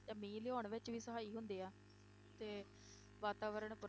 ਤੇ ਮੀਂਹ ਲਿਆਉਣ ਵਿੱਚ ਵੀ ਸਹਾਈ ਹੁੰਦੇ ਆ, ਤੇ ਵਾਤਾਵਰਨ